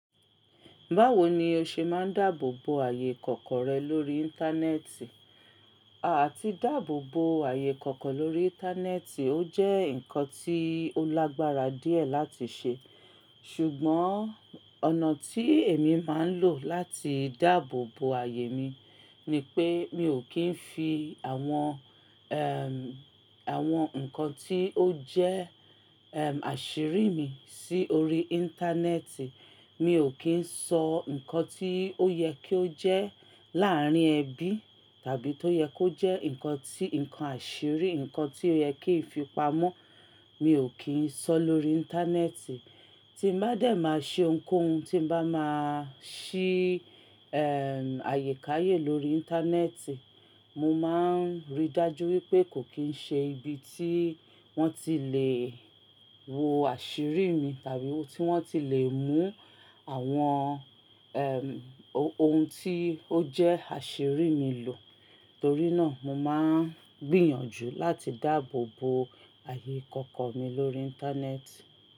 Báwo ni o ṣe máa ń dáàbò bo ààyè ikoko rẹ lórí Íńtánẹ́ẹ̀tì? Àti dáàbò bo ààyè ikoko lórí Íńtánẹ́ẹ̀tì ó jẹ́ nǹkan tí ó lágbára díẹ̀ láti ṣe, ṣùgbọ́n ọ̀nà tí èmi máa ń lò láti dáàbò bo ààyè mi ni pé mi ò kí ń fi àwọn, ẹm, àwọn nǹkan tí ó jẹ́, ẹm, àṣírí mi sí orí Íńtánẹ́ẹ̀tì. Mi ò kí ń sọ nǹkan tí ó yẹ ki ó jẹ́ láàárín ẹbí tàbí tó yẹ kó jẹ́ nǹkan tí, nǹkan àṣírí, nǹkan tí ó yẹ kí ń fi pamọ́ mi ò kí ń sọ lórí Íńtánẹ́ẹ̀tì. Tí n bá dẹ̀ máa ṣe ohunkóhun tí bá máa ṣí, ẹm, ààyè káyè lórí Íńtánẹ́ẹ̀tì, mo máa ń rí dájú wípé kò kín ń ṣe ibi tí wọ́n ti lè wo àṣírí mi tàbí tí wọ́n ti lè mú àwọn, ẹm, ohun tí ó jẹ́ àṣírí mi lò. Torí náà mo máa ń gbìyànjú láti dáàbò bo ààyè kankan mi lórí Íńtánẹ́ẹ̀tì.